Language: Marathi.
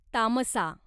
तामसा